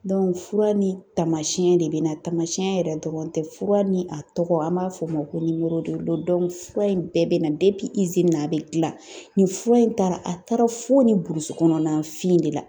fura ni taamasiyɛn de bɛ na , taamasiyɛn yɛrɛ dɔrɔn tɛ, fura ni a tɔgɔ an b'a fɔ o ma ko fura in bɛɛ bɛ na na a bɛ gilan ni fura in taara , a taara fo burusi kɔnɔna fin de la.